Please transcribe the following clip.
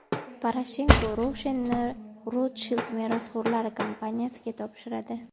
Poroshenko Roshen’ni Rotshild merosxo‘rlari kompaniyasiga topshiradi.